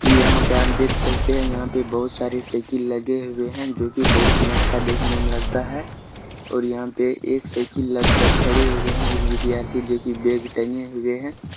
इ यहां पे हम देख सकते है यहां पे बहुत सारे सइकिल लगे हुए है जो की बहुत ही अच्छा देखने मे लगता है और यहां पे एक सइकिल लग कर खड़े हुई है एक विद्यार्थी जो की बैग टंगे हुए है।